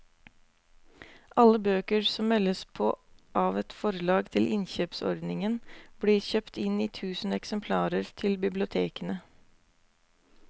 Alle bøker som meldes på av et forlag til innkjøpsordningen blir kjøpt inn i tusen eksemplarer til bibliotekene.